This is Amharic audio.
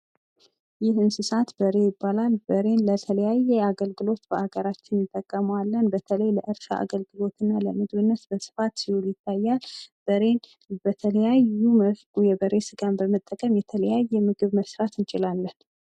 ይህ የእንስሳት በሬ ይባላል። በሬን በተለያየ አገልግሎት በአገራችን እንጠቀመዋለን በተለይ ለእርሻ አገልግሎትና ለምግብ አገልግሎት በስፋት ሲልውል ይታያል ።በሬ በተለያዩ መልኩ የበሬን ስጋ በመጠቀም የተለያየ የምግብ መስራት እንችላለን።